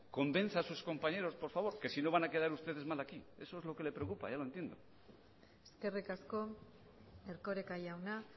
convenza a sus compañeros por favor que si no van a quedar ustedes mal aquí eso es lo que le preocupa ya lo entiendo eskerrik asko erkoreka jauna